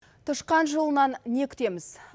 тышқан жылынан не күтеміз